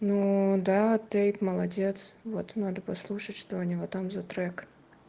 ну да ты молодец вот надо послушать что у него там за трек